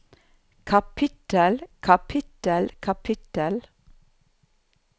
kapittel kapittel kapittel